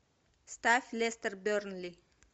ставь лестер бернли